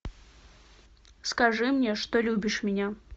скажи мне что любишь меня